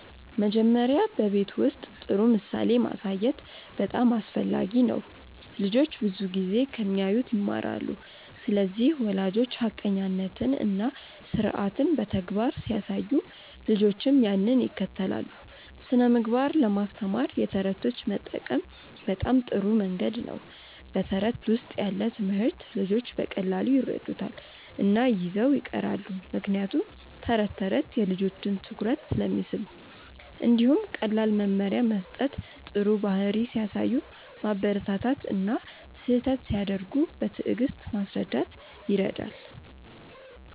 መጀመሪያ በቤት ውስጥ ጥሩ ምሳሌ ማሳየት በጣም አስፈላጊ ነው። ልጆች ብዙ ጊዜ ከሚያዩት ይማራሉ ስለዚህ ወላጆች ሐቀኛነትን እና ስርዓትን በተግባር ሲያሳዩ ልጆችም ያንን ይከተላሉ። ስነ ምግባር ለማስተማር የተረቶች መጠቀም በጣም ጥሩ መንገድ ነው በተረት ውስጥ ያለ ትምህርት ልጆች በቀላሉ ይረዱታል እና ይዘው ይቀራሉ ምክንያቱም ተረት ተረት የልጆችን ትኩረት ስለሚስብ። እንዲሁም ቀላል መመሪያ መስጠት ጥሩ ባህሪ ሲያሳዩ ማበረታታት እና ስህተት ሲያደርጉ በትዕግስት ማስረዳት ይረዳል።